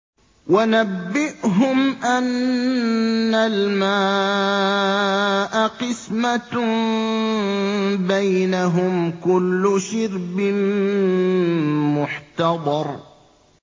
وَنَبِّئْهُمْ أَنَّ الْمَاءَ قِسْمَةٌ بَيْنَهُمْ ۖ كُلُّ شِرْبٍ مُّحْتَضَرٌ